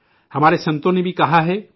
ہمارے سنتوں نے بھی کہا ہے کہ